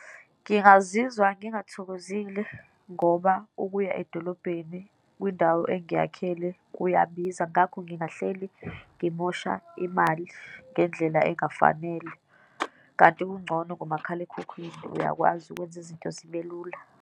Ngingazizwa ngingathokozile ngoba ukuya edolobheni kwindawo engiyakhele kuyabiza, ngakho ngingahleli ngimosha imali ngendlela engafanele. Kanti kungcono ngomakhalekhukhwini, uyakwazi ukwenza izinto zibe lula.